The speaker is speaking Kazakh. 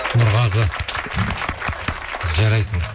нұрғазы жарайсың